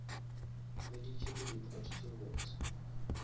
hweditše di report tše botse